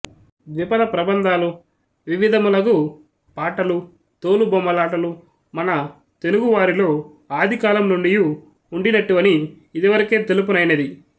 ద్విపద ప్రబంధాలు వివిధములగు పాటలు తోలుబొమ్మ లాటలు మన తెనుగువారిలో ఆదికాలము నుండియు ఉండినట్టివని యిదివరకే తెలుపనైనది